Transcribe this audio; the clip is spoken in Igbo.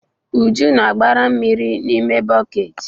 Uju na-agbara mmiri n'ime bọket.